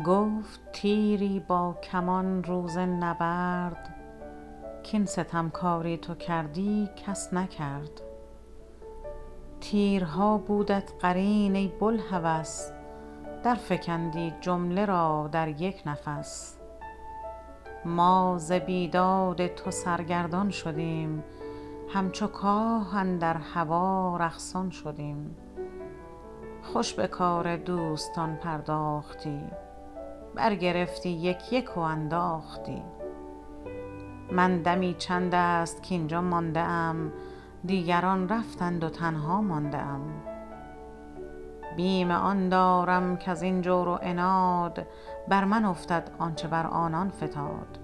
گفت تیری با کمان روز نبرد کاین ستمکاری تو کردی کس نکرد تیرها بودت قرین ای بوالهوس در فکندی جمله را در یک نفس ما ز بیداد تو سرگردان شدیم همچو کاه اندر هوا رقصان شدیم خوش بکار دوستان پرداختی بر گرفتی یک یک و انداختی من دمی چند است کاینجا مانده ام دیگران رفتند و تنها مانده ام بیم آن دارم کازین جور و عناد بر من افتد آنچه بر آنان فتاد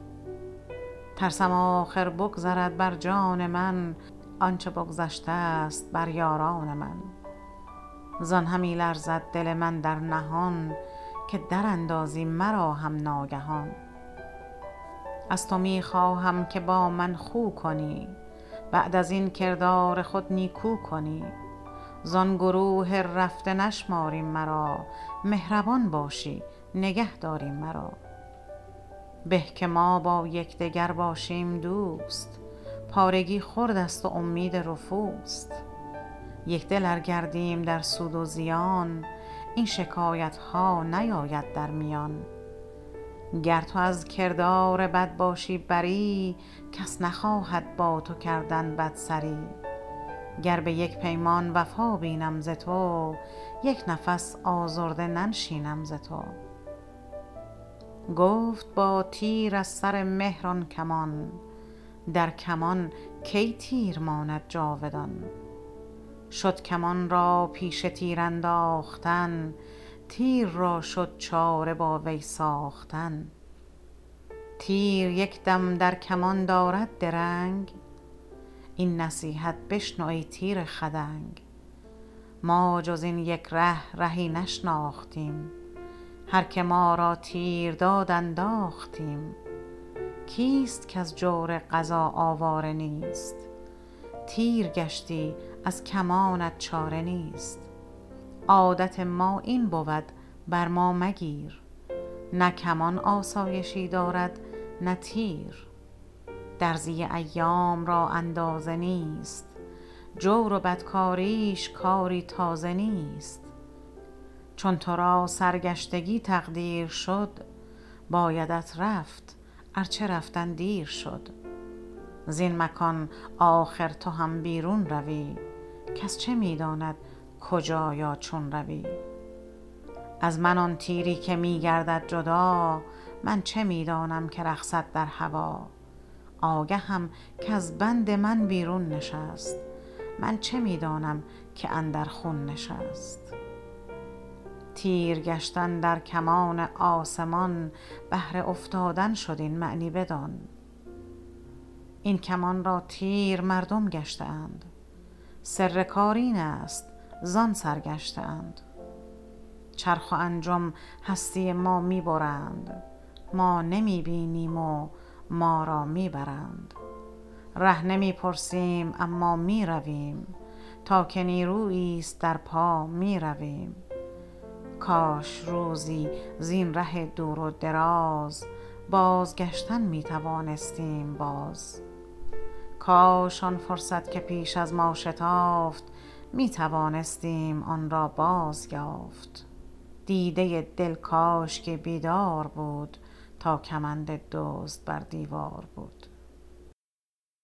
ترسم آخر بگذرد بر جان من آنچه بگذشتست بر یاران من زان همی لرزد دل من در نهان که در اندازی مرا هم ناگهان از تو میخواهم که با من خو کنی بعد ازین کردار خود نیکو کنی زان گروه رفته نشماری مرا مهربان باشی نگهداری مرا به که ما با یکدگر باشیم دوست پارگی خرد است و امید رفوست یکدل ار گردیم در سود و زیان این شکایت ها نیاید در میان گر تو از کردار بد باشی بری کس نخواهد با تو کردن بدسری گر بیک پیمان وفا بینم ز تو یک نفس آزرده ننشینم ز تو گفت با تیر از سر مهر آن کمان در کمان کی تیر ماند جاودان شد کمان را پیشه تیر انداختن تیر را شد چاره با وی ساختن تیر یکدم در کمان دارد درنگ این نصیحت بشنو ای تیر خدنگ ما جز این یک ره رهی نشناختیم هر که ما را تیر داد انداختیم کیست کاز جور قضا آواره نیست تیر گشتی از کمانت چاره نیست عادت ما این بود بر ما مگیر نه کمان آسایشی دارد نه تیر درزی ایام را اندازه نیست جور و بد کاریش کاری تازه نیست چون ترا سر گشتگی تقدیر شد بایدت رفت ار چه رفتن دیر شد زین مکان آخر تو هم بیرون روی کس چه میداند کجا یا چون روی از من آن تیری که میگردد جدا من چه میدانم که رقصد در هوا آگهم کاز بند من بیرون نشست من چه میدانم که اندر خون نشست تیر گشتن در کمان آسمان بهر افتادن شد این معنی بدان این کمان را تیر مردم گشته اند سر کار اینست زان سر گشته اند چرخ و انجم هستی ما میبرند ما نمی بینیم و ما را میبرند ره نمی پرسیم اما میرویم تا که نیروییست در پا میرویم کاش روزی زین ره دور و دراز باز گشتن میتوانستیم باز کاش آن فرصت که پیش از ما شتافت میتوانستیم آنرا باز یافت دیده دل کاشکی بیدار بود تا کمند دزد بر دیوار بود